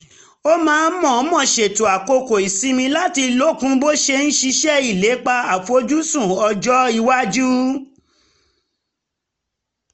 ó máa ń mọ̀ọ́mọ̀ ṣètò àkókò ìsinmi láti lókun bó ṣe ń ṣiṣẹ́ ìlépa àfojúsùn ọjọ́ iwájú